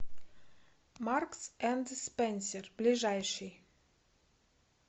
маркс энд спенсер ближайший